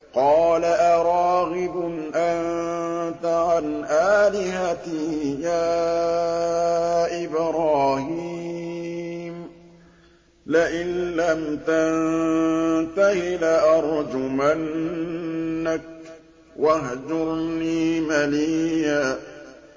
قَالَ أَرَاغِبٌ أَنتَ عَنْ آلِهَتِي يَا إِبْرَاهِيمُ ۖ لَئِن لَّمْ تَنتَهِ لَأَرْجُمَنَّكَ ۖ وَاهْجُرْنِي مَلِيًّا